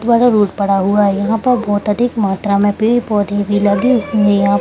Road पड़ा हुआ है यहाँ पर बहुत अधिक मात्रा में पेड़-पोधे भी लगे हुए हैं।